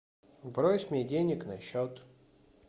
брось мне денег на счет